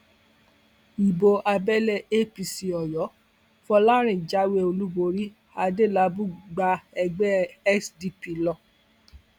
ibo abẹlé apc oyo fọlárin jáwé olúborí adélábù gba ẹgbẹ sdp lọ